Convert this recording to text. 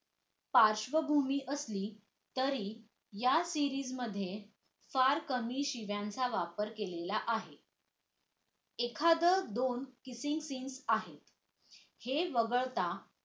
पार्शवभूमी असली तरी या series मध्ये फार कमी शिव्यांच्या वापर केलेला आहे एखाद्य दोन kissing science आहे हे वगळता